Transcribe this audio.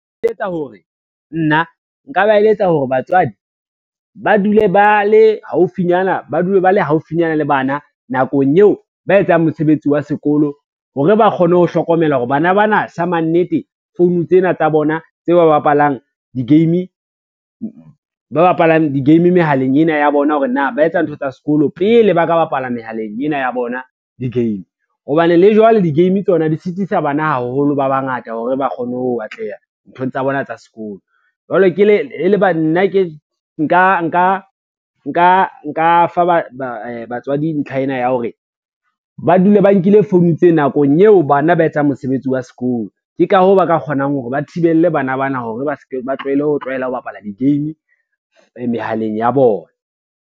Nna nka ba eletsa hore batswadi, ba dule ba le haufinyana le bana nakong eo ba etsang mosebetsi wa sekolo hore ba kgone ho hlokomela hore bana ba na sa mannete phone tsena tsa bona tse ba bapalang di-game mehaleng ena ya bona, hore na ba etsa ntho tsa sekolo pele ba ka bapala mehaleng ena ya bona di-game. Hobane le jwale di-game tsona di sitisa bana haholo ba bangata hore ba kgone ho atleha nthong tsa bona tsa sekolo, jwale nka fa ba batswadi ntlha ena ya hore, ba dule ba nkile phone tse nakong eo bana ba etsang mosebetsi wa sekolo, ke ka hoo ba ka kgonang hore ba thibele bana bana hore ba tlohele ho tlwaela ho bapala di-game mehaleng ya bona.